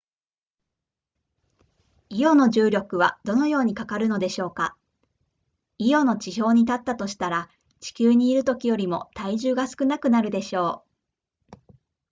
イオの重力はどのようにかかるのでしょうかイオの地表に立ったとしたら地球にいるときよりも体重が少なくなるでしょう